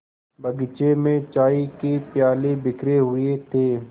बगीचे में चाय के प्याले बिखरे हुए थे